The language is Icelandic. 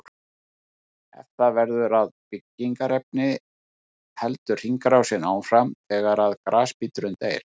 Ef það verður að byggingarefni heldur hringrásin áfram þegar grasbíturinn deyr.